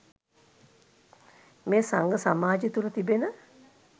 මෙය සංඝ සමාජය තුළ තිබෙන